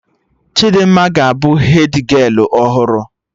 Chidimma ga abụ hedgialụ ọhụrụ